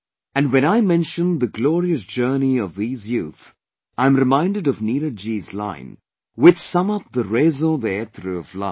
And when I mention the glorious journey of these youth, I am reminded of Neeraj ji's line which sum up the raison d'etre of life